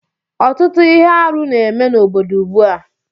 Ọtụtụ ihe arụ na-eme n'obodo ugbu a